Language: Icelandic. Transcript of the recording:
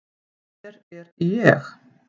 Hér er ég.